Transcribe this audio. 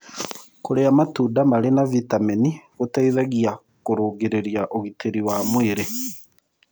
Kũrĩa matũnda marĩ na vĩtamenĩ C gũteĩthagĩa kũrũngĩrĩrĩa ũgĩtĩrĩ wa mwĩrĩ